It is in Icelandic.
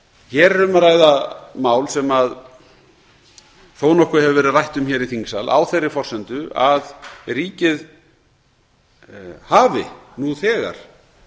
hér er um að ræða mál sem þó nokkuð hefur verið rætt um hér í þingsal á þeirri forsendu að ríkið hafi nú þegar